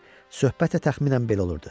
Söhbət də təxminən belə olurdu.